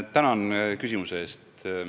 Tänan küsimuse eest!